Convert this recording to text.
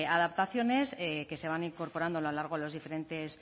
adaptaciones que se van incorporando a lo largo de los diferentes